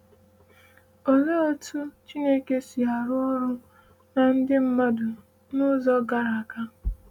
“Olee otú Chineke si arụ ọrụ na Ndị Mmadu n’Ụzọ Gara Aga”